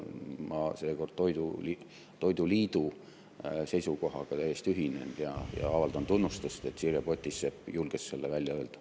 Ma seekord toiduliidu seisukohaga täiesti ühinen ja avaldan tunnustust, et Sirje Potisepp julges selle välja öelda.